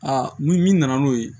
Aa ni min nana n'o ye